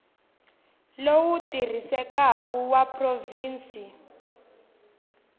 lowu wu tirhisekaku wa provhinsi